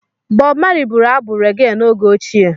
Bọb Mali bụrụ abụ rege n’oge ochie.